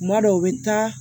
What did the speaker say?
Kuma dɔw bɛ taa